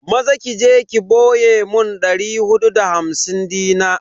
Maza je ki boye mun dari hudu da hamsin dina.